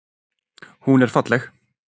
Hún er falleg.